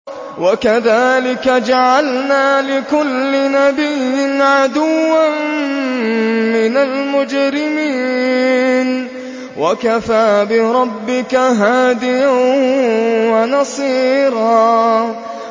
وَكَذَٰلِكَ جَعَلْنَا لِكُلِّ نَبِيٍّ عَدُوًّا مِّنَ الْمُجْرِمِينَ ۗ وَكَفَىٰ بِرَبِّكَ هَادِيًا وَنَصِيرًا